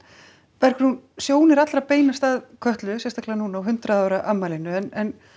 Bergrún sjónir allra beinast að Kötlu sérstaklega núna á hundrað ára afmælinu en